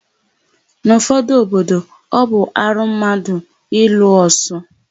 N'ụfọdụ obodo, ọ bụ arụ mmadụ ịlụ osu.